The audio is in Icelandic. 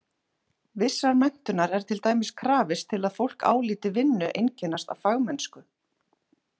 Vissrar menntunar er til dæmis krafist til að fólk álíti vinnu einkennast af fagmennsku.